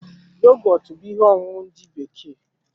Yogọtu bú ihe ọṅụṅụ ndị bekee